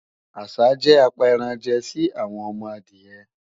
àsá jẹ́ apẹranjẹ sí àwọn ọmọ adìyẹ